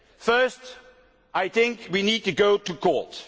Firstly, I think we need to go to court.